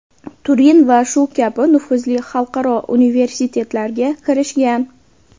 Turin va shu kabi nufuzli xalqaro universitetlarga kirishgan.